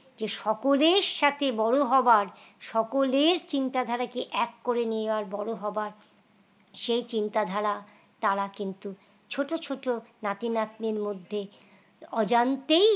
যে সকলের সাথে বড় হবার সকলের চিন্তা ধারাকে এক করে নেওয়া বড় হবার সে চিন্তাধারা তারা কিন্তু ছোট ছোট নাতি-নাতনি মধ্যে অজান্তেই